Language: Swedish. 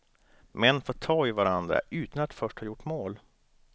Män får ta i varandra, utan att först ha gjort mål.